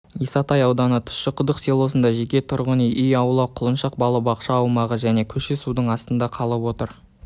исатай ауданы тұщықұдық селосында жеке тұрғын үй аула құлыншақ балабақша аумағы және көше судың астында қалып